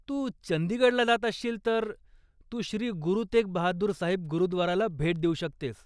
तू चंदीगडला जातअसशील तर तू श्री गुरु तेग बहादूर साहिब गुरुद्वाराला भेट देऊ शकतेस.